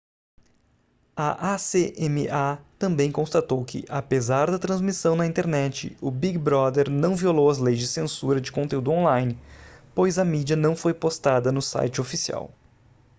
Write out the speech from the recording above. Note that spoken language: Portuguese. a acma também constatou que apesar da transmissão na internet o big brother não violou as leis de censura de conteúdo on-line pois a mídia não foi postada no site oficial